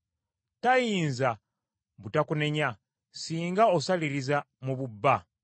Tayinza butakunenya, singa osaliriza mu bubba.